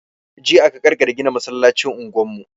Jiya aka ƙarkare gina masallacin unguwar mu.